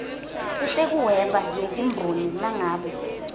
letekuhweba netimboni nangabe